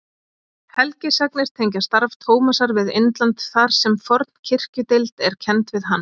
Helgisagnir tengja starf Tómasar við Indland þar sem forn kirkjudeild er kennd við hann.